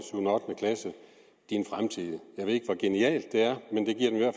din fremtid jeg ved ikke hvor genialt det er